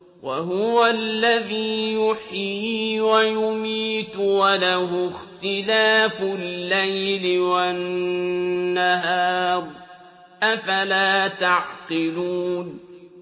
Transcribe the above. وَهُوَ الَّذِي يُحْيِي وَيُمِيتُ وَلَهُ اخْتِلَافُ اللَّيْلِ وَالنَّهَارِ ۚ أَفَلَا تَعْقِلُونَ